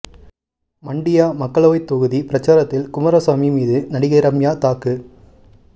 மண்டியா மக்களவை தொகுதி பிரச்சாரத்தில் குமாரசாமி மீது நடிகை ரம்யா தாக்கு